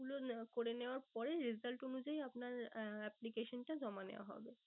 গুলো করে নেওয়ার পরে result অনুযায়ী আপনার application টা জমা নেওয়া হবে।